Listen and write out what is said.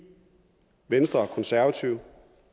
venstre og konservative